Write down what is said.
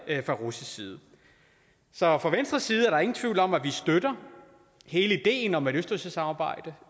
fra russisk side så fra venstres side er der ingen tvivl om at vi støtter hele ideen om et østersøsamarbejde